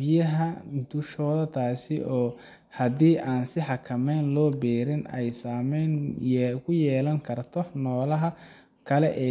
biyaha dushooda taas oo hadii aan si xakameysan loo beerin ay saameyn ku yeelan karto noolaha kale ee .